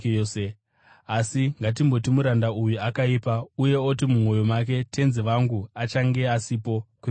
Asi ngatimboti muranda uyo akaipa uye oti mumwoyo make, ‘Tenzi wangu achange asipo kwenguva refu,’